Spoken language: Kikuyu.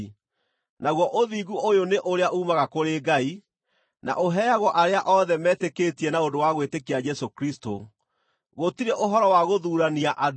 Naguo ũthingu ũyũ nĩ ũrĩa uumaga kũrĩ Ngai, na ũheagwo arĩa othe metĩkĩtie na ũndũ wa gwĩtĩkia Jesũ Kristũ. Gũtirĩ ũhoro wa gũthuurania andũ,